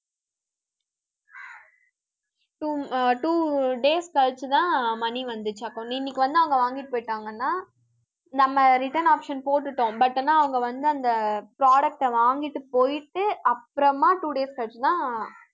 two அ two days கழிச்சுதான் money வந்துச்சு account இன்னைக்கு வந்து, அவங்க வாங்கிட்டு போயிட்டாங்கன்னா நம்ம return option போட்டுட்டோம். but ஆனா அவங்க வந்து, அந்த product அ வாங்கிட்டு போயிட்டு, அப்புறமா two days கழிச்சுதான்